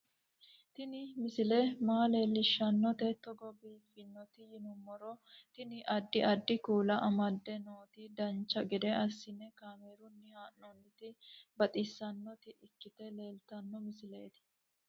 Tini misile maa leellishshannote togo biiffinoti yinummoro tini. addi addi kuula amadde nooti dancha gede assine kaamerunni haa'noonniti baxissannota ikkite leeltanno misileeti